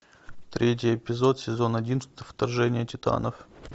третий эпизод сезон один вторжение титанов